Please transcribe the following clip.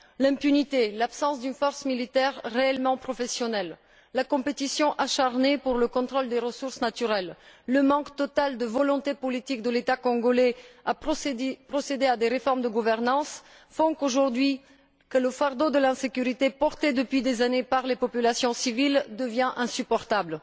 L'impunité, l'absence d'une force militaire réellement professionnelle, la concurrence acharnée pour le contrôle des ressources naturelles, le manque total de volonté politique de l'État congolais de procéder à des réformes de gouvernance font qu'aujourd'hui, le fardeau de l'insécurité porté depuis des années par les populations civiles devient insupportable.